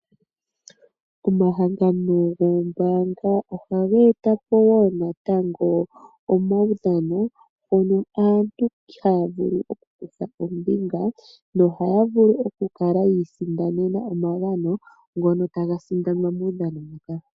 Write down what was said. Omahangano goombaanga ohaga etapo woo natango omaudhano mono aantu haya nulu oku kutha ombinga nohaya vulu oku kala yi isindanene omagano ngono taga sindanwa muudhano muka.